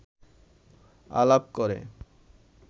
আলাপ করে